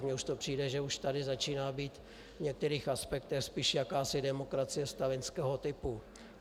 Mně už to přijde, že už tady začíná být v některých aspektech spíš jakási demokracie stalinského typu.